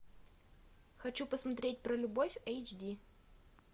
хочу посмотреть про любовь эйч ди